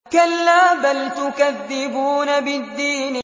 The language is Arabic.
كَلَّا بَلْ تُكَذِّبُونَ بِالدِّينِ